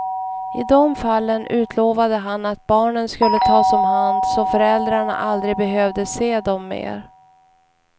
I dom fallen utlovade han att barnen skulle tas om hand så föräldrarna aldrig behövde se dem mer.